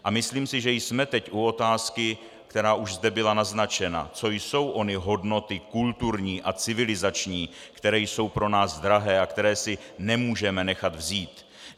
A myslím si, že jsme teď u otázky, která už zde byla naznačena - co jsou ony hodnoty kulturní a civilizační, které jsou pro nás drahé a které si nemůžeme nechat vzít?